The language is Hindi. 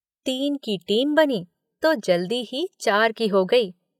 तीन की टीम बनी जो जल्दी ही चार की हो गई।